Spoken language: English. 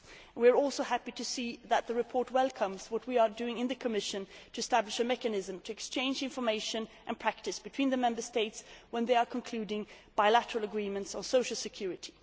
We are also happy to see that the report welcomes what we are doing in the Commission to establish a mechanism to exchange information and practice between the Member States when they are concluding bilateral agreements on social security.